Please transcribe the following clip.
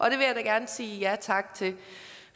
jeg da gerne sige ja tak til